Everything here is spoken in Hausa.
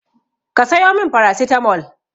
Ki sayo min farasitamol!